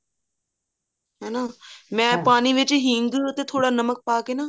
ਹਨਾ ਮੈਂ ਪਾਣੀ ਵਿੱਚ ਹਿੰਗ ਤੇ ਥੋੜਾ ਨਮਕ ਪਾ ਕੇ ਨਾ